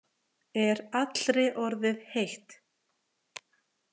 Er allri orðið heitt.